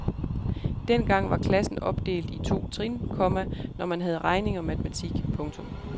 Dengang var klassen opdelt i to trin, komma når man havde regning og matematik. punktum